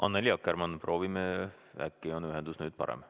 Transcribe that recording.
Annely Akkermann, proovime, äkki on ühendus nüüd parem.